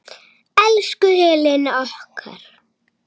Elsku Helena okkar.